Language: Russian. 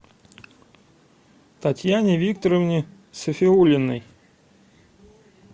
татьяне викторовне сафиуллиной